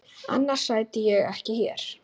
Annars sæti ég ekki hér.